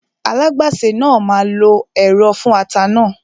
Alágbàsè náà máa lo ẹ̀rọ fún ata náà